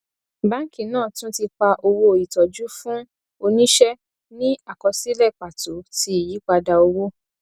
báńkì náà tún ti pa owó ìtọjú fún oníṣe ní àkọsílẹ pàtó ti iyípadà owó